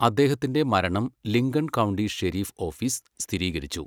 അദ്ദേഹത്തിന്റെ മരണം Lincoln county sheriff office സ്ഥിരീകരിച്ചു.